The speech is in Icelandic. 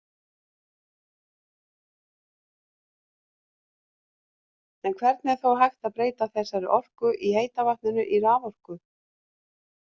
En hvernig er þá hægt að breyta þessari orku í heita vatninu í raforku?